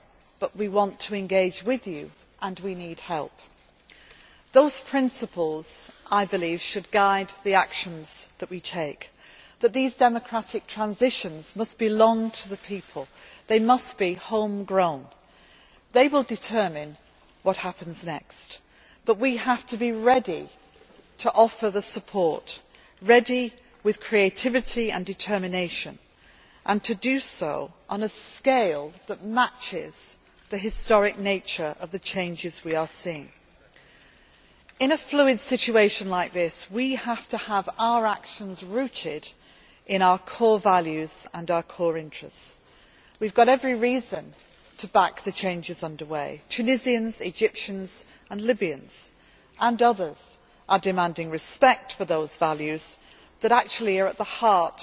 our way but we want to engage with you and we need help. Those principles, I believe, should guide the actions that we take these democratic transitions must belong to the people they must be home grown. They will determine what happens next. But we have to be ready to offer the support, ready with creativity and determination and to do so on a scale that matches the historic nature of the changes we are seeing. In a fluid situation like this, we have to have our actions rooted in our core values and our core interests. We have every reason to back the changes under way. Tunisians, Egyptians, Libyans and others are demanding respect for those values that actually are